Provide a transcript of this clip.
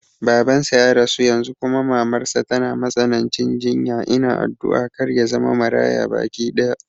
Baban sa ya rasu yanzu kuma mamar sa tana matsanancin jinya, ina addu'a kar yazama Maraya baki ɗaya